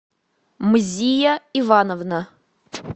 мзия ивановна